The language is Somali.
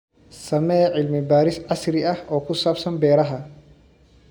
Samee cilmi baaris casri ah oo ku saabsan beeraha.